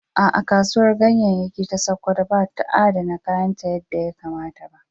A’a, Kasuwar Ganyayyaki ta Sakkwato ba ta adana kayanta yadda ya kamata.